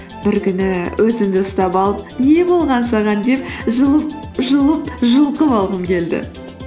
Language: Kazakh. бір күні өзіңді ұстап алып не болған саған деп жұлқып алғым келді